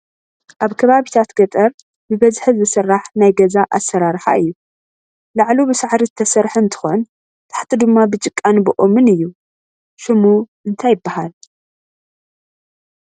ኣብ ከባቢታት ገጠር ብበዝሒ ዝስራሕ ናይ ገዛ ኣሰራርሓ እዩ፡፡ ላዕሉ ብሳዕሪ ዝተሰርሐ እንትኾን ታሕቱ ድማ ብጭቃን ብኦምን እዩ፡፡ ሽሙ እንታይ ይባሃል?